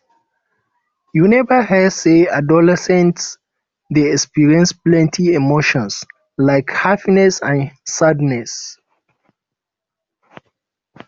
you neva hear sey adolescents dey experience plenty emotions like happiness and sadness